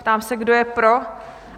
Ptám se, kdo je pro?